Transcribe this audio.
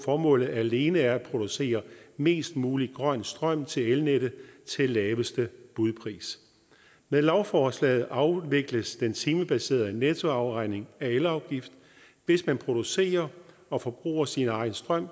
formålet alene er at producere mest mulig grøn strøm til elnettet til laveste budpris med lovforslaget afvikles den timebaserede nettoafregning af elafgift hvis man producerer og forbruger sin egen strøm